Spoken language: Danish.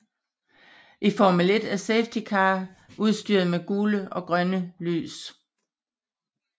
I Formel 1 er safety car udstyret med gule og grønne lys